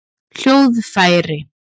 hljóðfæri